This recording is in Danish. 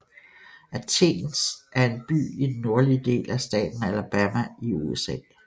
Athens er en by i den nordlige del af staten Alabama i USA